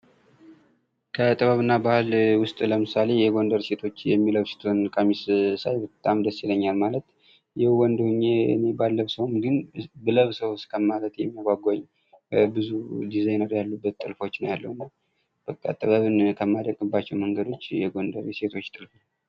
ከጥበብ እና ባህል ውስጥ ለምሳሌ የጎንደር ሴቶች የሚለብሱትን ቀሚስ ሳይ በጣም ደስ ይለኛል ማለት የው ወንድ ሁኜ እኔ ባለብሰውም ግን ብለብሰውስ ከማለቴ የሚያጓጓኝ ብዙ ዲዛይነር ያሉበት ጥልፎች ነው ያለው እና በቃ ጥበብን ከማደንቅባቸው መንገዶች የጎንደር የሴቶች ጥልፍ ነው ።